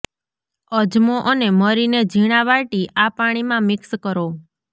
અજમો અને મરીને ઝીણા વાટી આ પાણીમાં મિક્સ કરો